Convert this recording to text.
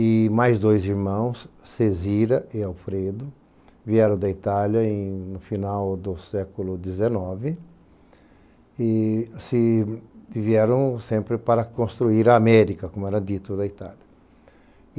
E mais dois irmãos, Cesira e Alfredo, vieram da Itália em no final do século dezenove e vieram sempre para construir a América, como era dito, da Itália.